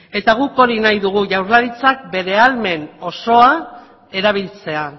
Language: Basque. eta guk hori nahi dugu jaurlaritzak bete ahalmen osoa erabiltzea